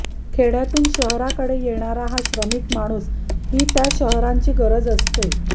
खेडय़ातून शहराकडे येणारा हा श्रमिक माणूस ही त्या शहरांची गरज असते